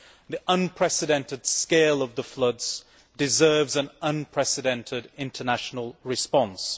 The unprecedented scale of the floods warrants an unprecedented international response.